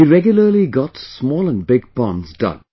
He regularly got small and big ponds dug